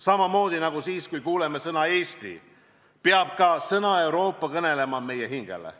Samamoodi nagu siis, kui kuuleme sõna "Eesti", peab ka sõna "Euroopa" kõnelema meie hingele.